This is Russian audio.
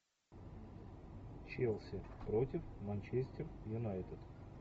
челси против манчестер юнайтед